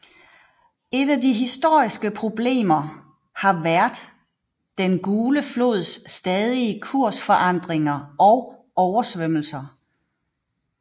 Et af de historiske problemer har vært Den gule flods stadige kursforandringer og oversvømmelser